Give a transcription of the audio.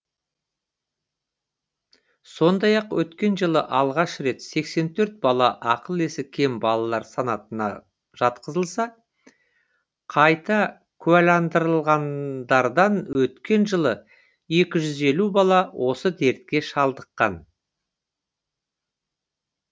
сондай ақ өткен жылы алғаш рет сексен төрт бала ақыл есі кем балалар санатына жатқызылса қайта куәландырылғандардан өткен жылы екі жүз елу бала осы дертке шалдыққан